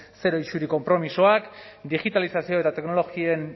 zero isuri konpromisoak digitalizazioa eta teknologien